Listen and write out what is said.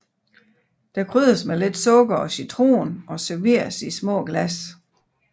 Den krydres med lidt sukker og citron og serveres i små glas